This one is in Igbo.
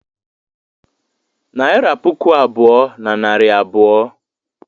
Naịra puku abụọ na narị abụọ.